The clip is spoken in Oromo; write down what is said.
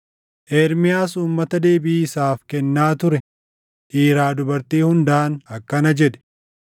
Ermiyaas uummata deebii isaaf kennaa ture dhiiraa dubartii hundaan akkana jedhe;